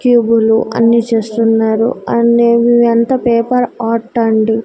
కివ్వులు అన్ని చేస్తున్నారు అన్నీ ఇవంత పేపర్ ఆర్ట్ అండి--